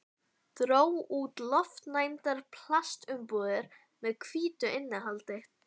Dró út lofttæmdar plastumbúðir með hvítu innihaldi.